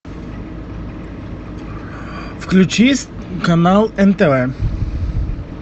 включи канал нтв